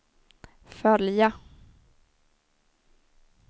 följa